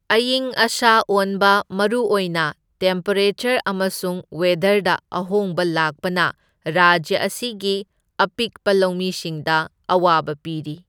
ꯑꯏꯪ ꯑꯁꯥ ꯑꯣꯟꯕ, ꯃꯔꯨꯑꯣꯏꯅ ꯇꯦꯝꯄꯦꯔꯦꯆꯔ ꯑꯃꯁꯨꯡ ꯋꯦꯗꯔꯗ ꯑꯍꯣꯡꯕ ꯂꯥꯛꯄꯅ ꯔꯥꯖ꯭ꯌ ꯑꯁꯤꯒꯤ ꯑꯄꯤꯛꯄ ꯂꯧꯃꯤꯁꯤꯡꯗ ꯑꯋꯥꯕ ꯄꯤꯔꯤ꯫